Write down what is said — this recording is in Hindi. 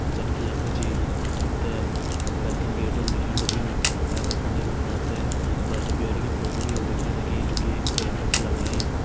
जन कि यख मा जी आप तैं वेलकम गेट होलु दिखेण लग्युं यहां का फंडे बिटिन आप तैं बर-ब्योली की फोटो भी होली दिखेण लगीं जो की एक फ्रेम पर छ लगाईं।